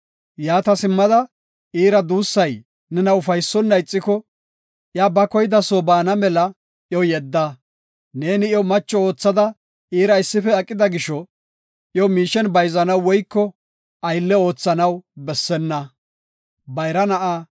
Yaata simmada, iira duussay nena ufaysonna ixiko, iya ba koyida soo baana mela iyo yedda. Neeni iyo macho oothada iira issife aqida gisho, iyo miishen bayzanaw woyko aylle oothanaw bessenna.